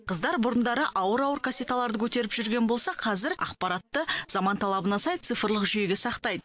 қыздар бұрындары ауыр ауыр кассеталарды көтеріп жүрген болса қазір ақпаратты заман талабына сай цифрлық жүйеге сақтайды